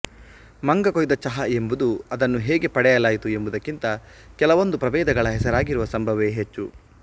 ಮಂಗ ಕೊಯ್ದ ಚಹಾ ಎಂಬುದು ಅದನ್ನು ಹೇಗೆ ಪಡೆಯಲಾಯಿತು ಎಂಬುದಕ್ಕಿಂತ ಕೆಲವೊಂದು ಪ್ರಭೇದಗಳ ಹೆಸರಾಗಿರುವ ಸಂಭವವೇ ಹೆಚ್ಚು